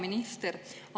Hea minister!